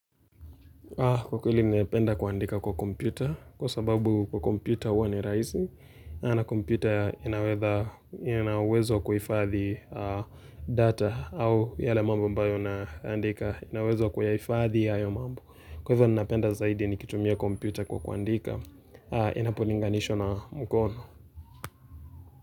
Kwa kweli napenda kuandika kwa kompita, kwa sababu kwa kompita huwa ni rahisi, na kompita inauwezo wa kuhifadhi data au yale mambo ambayo na andika ina uwezo wa kuyahifadhi hayo mambo. Kwa hivyo nipenda zaidi nikitumia kompita kwa kuandika, inapolinganishwa na mkono.